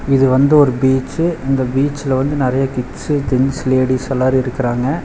இது வந்து ஒரு பீச்சு இந்த பீச்ல வந்து நெறைய கிட்ஸு ஜென்ட்ஸ் லேடீஸ் எல்லாரு இருக்குறாங்க.